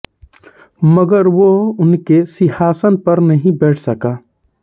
मगर वह उनके सिंहासन पर नहीं बैठ सका